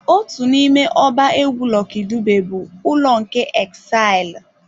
Otu n'ime ọba egwu Lucky Dube bụ "Ụlọ nke Exile"